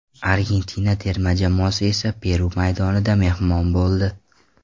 Argentina terma jamoasi esa Peru maydonida mehmon bo‘ldi.